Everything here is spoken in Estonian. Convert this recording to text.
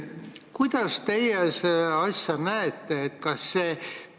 Kuidas teie seda asja näete?